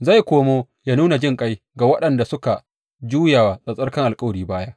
Zai komo yă nuna jinƙai ga waɗanda suka juya wa tsattsarkan alkawari baya.